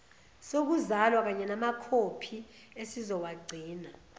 sokuzalwa kanyenamakhophi esizowagcina